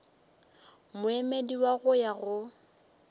moemedi wa go ya go